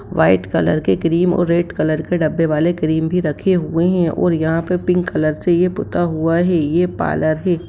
White colour के cream और red colour के डब्बे वाले क्रीम भी रखे हुए है और यहाँ पे पिंक कलर से पूता हुआ है ये पार्लर है।